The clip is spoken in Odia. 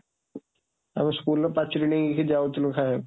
ଆମେ schoolର ପାଚେରୀ ଡେଇଁକି ଯାଉଥିଲୁ ଖାଇବାକୁ।